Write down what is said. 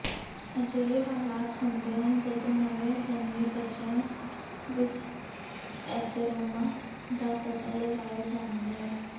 ਅਜਿਹੇ ਹਾਲਾਤ ਹੁੰਦੇ ਹਨ ਜਦੋਂ ਨਵੇਂ ਜਨਮੇ ਬੱਚਿਆਂ ਵਿੱਚ ਐਥੇਰੋਮਾ ਦਾ ਪਤਾ ਲਗਾਇਆ ਜਾਂਦਾ ਹੈ